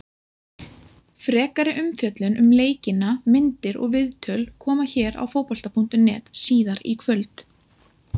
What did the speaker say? Frekari umfjöllun um leikina, myndir og viðtöl, koma hér á Fótbolta.net síðar í kvöld.